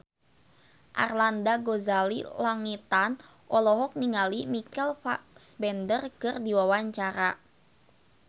Arlanda Ghazali Langitan olohok ningali Michael Fassbender keur diwawancara